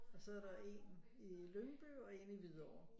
Og så er der en i Lyngby og en i Hvidovre